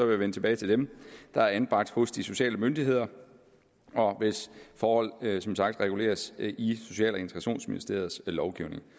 vende tilbage til dem der er anbragt hos de sociale myndigheder og hvis forhold som sagt reguleres i social og integrationsministeriets lovgivning